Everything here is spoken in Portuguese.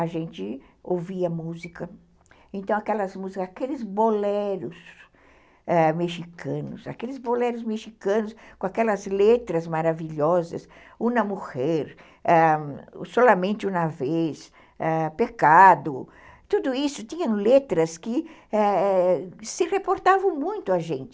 A gente ouvia música, então aquelas músicas, aqueles boleros ãh mexicanos, aqueles boleros mexicanos com aquelas letras maravilhosas, Una Mujer, Solamente Una Vez, ãh, Pecado, tudo isso tinha letras que se reportavam muito a gente.